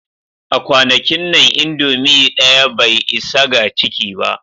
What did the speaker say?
A kwanakin nan, indomie ɗaya bai isa ga ciki ba